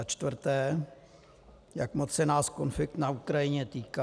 Za čtvrté: Jak moc se nás konflikt na Ukrajině týká?